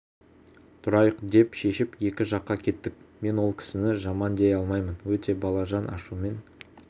тұрайық деп шешіп екі жаққа кеттік мен ол кісіні жаман дей алмаймын өте балажан ашумен